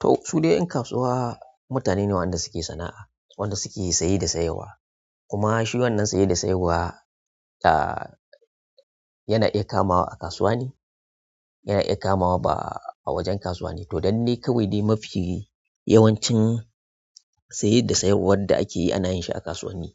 To su dai 'yan kasuwa mutane ne waɗanda suke sana'a, waɗanda suke saye da sayarwa. Kuma shi wannan saye da sayarwa, ah yana iya kamawa a kasuwa ne, yana iya kamawa ba a wajen kasuwane. To, dannai kawai dai mafi yawancin saye da sayarwar da ake yi ana yin shi a kasuwanni.